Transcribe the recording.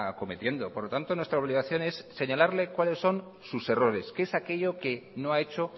cometiendo por lo tanto nuestra obligación es señalarle cuáles son sus errores que es aquello que no ha hecho